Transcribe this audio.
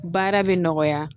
Baara bɛ nɔgɔya